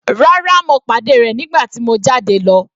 Rárá, mo pàdé rẹ̀ nígbà tí mo jáde lọ.